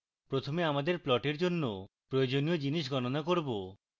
প্রথমে আমরা প্লটের জন্য প্রয়োজনীয় জিনিস গণনা করব